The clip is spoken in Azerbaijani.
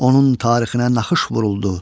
onun tarixinə naxış vuruldu.